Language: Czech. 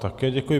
Také děkuji.